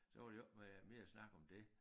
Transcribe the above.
Så var der jo ikke øh meget mere snak om det